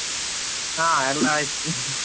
ಹಾ, ಎಲ್ಲಾ ಆಯ್ತು .